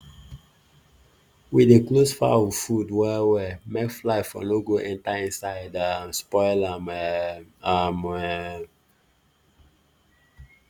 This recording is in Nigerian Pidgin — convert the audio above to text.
we dey close fowl food well well make fly for no go enter inside um spoil am um am um